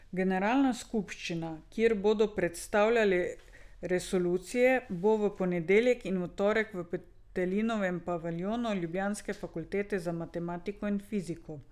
Generalna skupščina, kjer bodo predstavili resolucije, bo v ponedeljek in torek v Petelinovem paviljonu ljubljanske fakultete za matematiko in fiziko.